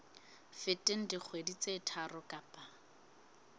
feteng dikgwedi tse tharo kapa